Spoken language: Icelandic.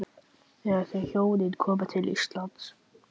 Þegar þau hjónin koma til Íslands